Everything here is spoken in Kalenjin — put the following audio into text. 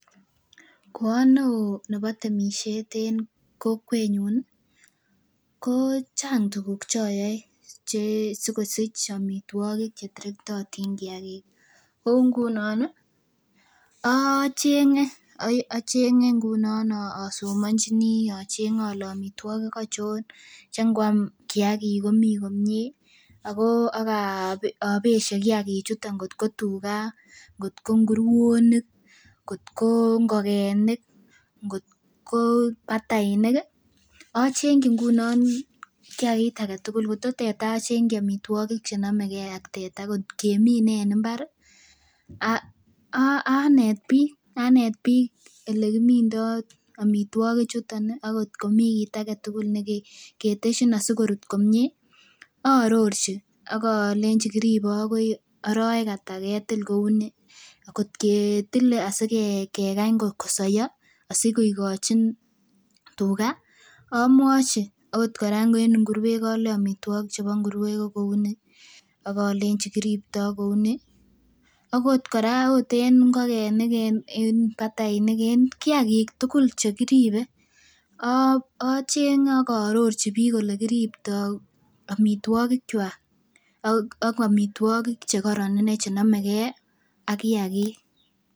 Ko o neo nebo temisiet en kokwetnyun ih ko chang tuguk choyoe che sikosich amitwogik cheterektotin kiagik o ngunon ih ocheng'e, acheng'e ngunon asomonjini acheng'e ole amitwogik achon che ngoam kiagik komii komie ako ak obesye kiagik chuton kotko tuga kotko nguruonik ngotko ngokenik ngotko batainik ih achengyi ngunon kiagik alak tugul kotko teta achengyi amitwogik chenomegee ak teta kot kemine en mbar ih anet biik anet biik elekimindoo amitwogik chuton ih ak kot komii kit aketugul neketesyin asikorut komie aarorchi akolenji kiribe akoi arowek ata ketil kou ni kot ketile asikekany kosoiyo asikoikochin tuga amwochi akot kora en nguruet olei amitwogik chebo nguruek ko kouni ak olenji kiripto kou ni akot kora en ngokenik en batainik en kiagik tugul chekiribe acheng'e ak aarorchi biik olekiriptoo amitwogik kwak ak amitwogik chekoron inei chenomegee ak kiagik